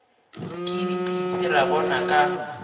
ke dipitsi ra bona ka